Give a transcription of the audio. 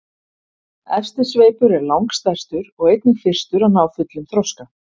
Efsti sveipur er langstærstur og einnig fyrstur að ná fullum þroska.